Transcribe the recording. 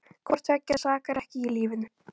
Hvort tveggja sakar ekki í lífinu.